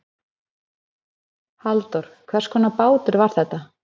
Halldór hvers konar bátur var þetta?